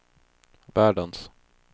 världens